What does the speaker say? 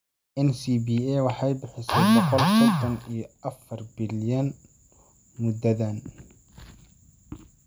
NCBA waxay bixisay boqol sodon iyo afar bilyan muddadan.